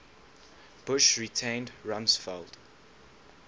bush retained rumsfeld